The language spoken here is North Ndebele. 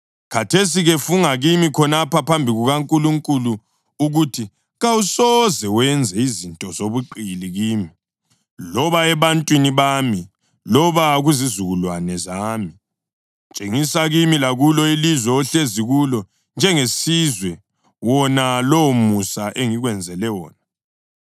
Khathesi-ke funga kimi khonapha phambi kukaNkulunkulu ukuthi kawusoze wenze izinto zobuqili kimi, loba ebantwaneni bami loba kuzizukulwane zami. Tshengisa kimi lakulo ilizwe ohlezi kulo njengesizwe wona lowomusa engikwenzele wona.”